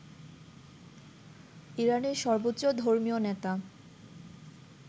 ইরানের সর্বোচ্চ ধর্মীয় নেতা